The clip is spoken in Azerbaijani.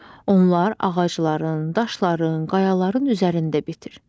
Onlar ağacların, daşların, qayaların üzərində bitir.